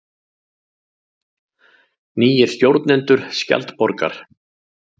Nýir stjórnendur Skjaldborgar